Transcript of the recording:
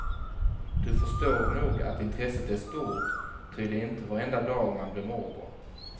Du förstår nog att intresset är stort, ty det är inte varenda dag man blir morbror.